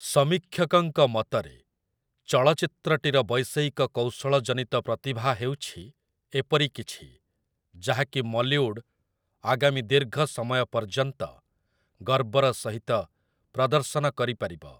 ସମୀକ୍ଷକଙ୍କ ମତରେ, 'ଚଳଚ୍ଚିତ୍ରଟିର ବୈଷୟିକ କୌଶଳ ଜନିତ ପ୍ରତିଭା ହେଉଛି ଏପରି କିଛି, ଯାହାକି 'ମଲିଉଡ଼୍' ଆଗାମୀ ଦୀର୍ଘ ସମୟ ପର୍ଯ୍ୟନ୍ତ ଗର୍ବର ସହିତ ପ୍ରଦର୍ଶନ କରିପାରିବ' ।